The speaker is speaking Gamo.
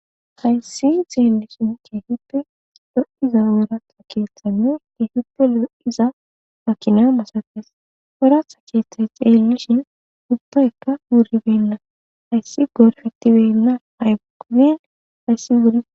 hayssi xeelishin kiefippe lo7iza wooratha keeththanne hiihippe lo7iza makina masafes oratha keeththat xeellishin ubbaykka wuribenna hayssi gorfittibenna haygubin hayssi wuri